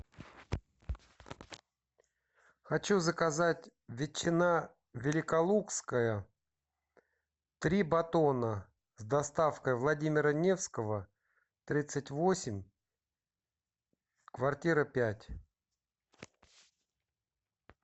хочу заказать ветчина великолукская три батона с доставкой владимира невского тридцать восемь квартира пять